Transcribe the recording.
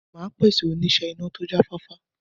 Màá pèsè oníṣẹ́ iná tó jáfáfá.